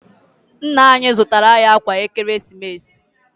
Nna anyị zụtara anyị ákwà Ekeresimesi.